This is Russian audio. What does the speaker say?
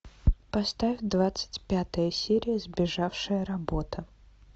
поставь двадцать пятая серия сбежавшая работа